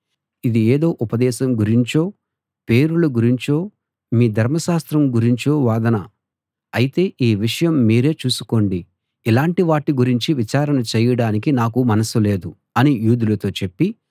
ఇది ఏదో ఉపదేశం గురించో పేరుల గురించో మీ ధర్మశాస్త్రం గురించో వాదన అయితే ఆ విషయం మీరే చూసుకోండి ఇలాంటి వాటి గురించి విచారణ చేయడానికి నాకు మనసు లేదు అని యూదులతో చెప్పి